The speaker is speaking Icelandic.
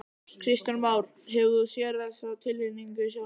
Kristján Már: Hefur þú séð þessa tilhneigingu sjálfur?